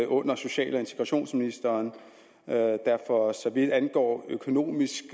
under social og integrationsministeren der for så vidt angår økonomisk